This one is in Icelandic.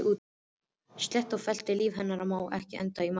Slétt og fellt líf hennar má ekki enda í martröð.